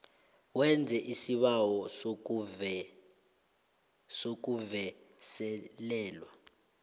wenze isibawo sokuvuselelwa